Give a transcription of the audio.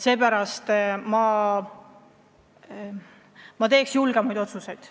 Seepärast ma teeks julgemaid otsuseid.